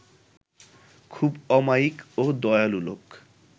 খুব অমায়িক ও দয়ালু লোক